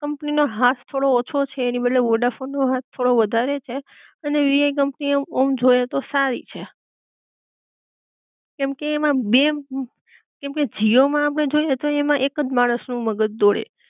company નો હાથ થોડો ઓછો છે એની બદલે વોડાફોન નો હાથ થોડો વધારે છે, અને વીઆઈ કંપની ઑમ જોઈ એ તો સારી છે, કેમકે એમા બે કેમકે જીઓ માં આપડે જોઈ એ તો એકજ માણસ નું મગજ દોડે